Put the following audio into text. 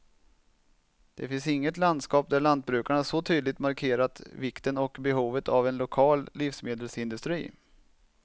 Det finns inget landskap där lantbrukarna så tydligt markerat vikten och behovet av en lokal livsmedelsindustri.